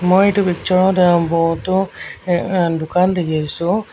মই এটো পিকচাৰত অ বহুটো অ অ দোকান দেখিছোঁ।